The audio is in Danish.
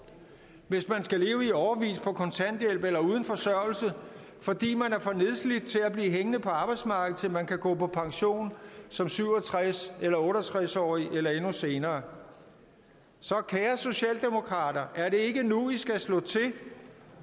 hvis man skal leve i årevis på kontanthjælp eller uden forsørgelse fordi man er for nedslidt til at blive hængende på arbejdsmarkedet til man kan gå på pension som syv og tres eller otte og tres årig eller endnu senere så kære socialdemokrater er det ikke nu i skal slå til